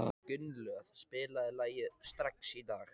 Gunnlöð, spilaðu lagið „Strax í dag“.